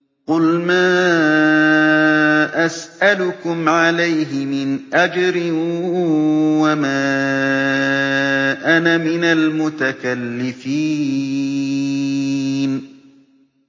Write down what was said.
قُلْ مَا أَسْأَلُكُمْ عَلَيْهِ مِنْ أَجْرٍ وَمَا أَنَا مِنَ الْمُتَكَلِّفِينَ